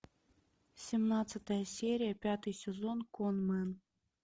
семнадцатая серия пятый сезон конмэн